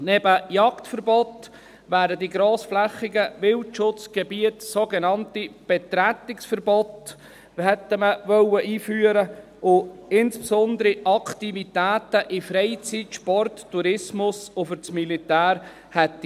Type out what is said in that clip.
Neben Jagdverboten wären in grossflächigen Wildschutzgebieten sogenannte Betretungsverbote eingeführt worden, die insbesondere Aktivitäten aus den Bereichen Freizeit, Sport, Tourismus und Militär gegolten hätten.